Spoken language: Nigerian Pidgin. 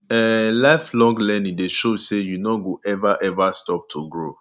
um lifelong learning dey show say you no go ever ever stop to grow